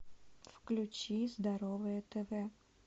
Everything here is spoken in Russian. включи здоровое тв